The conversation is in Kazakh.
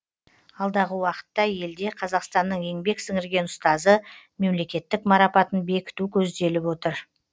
алдағы уақытта елде қазақстанның еңбек сіңірген ұстазы мемлекеттік марапатын бекіту көзделіп отыр